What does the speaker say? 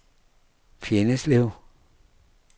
Fjenneslev